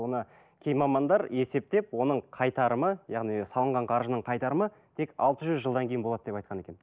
оны кей мамандар есептеп оның қайтарымы яғни салынған қаржының қайтарымы тек алты жүз жылдан кейін болады деп айтқан екен